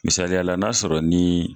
Misaliyala n'a sɔrɔ ni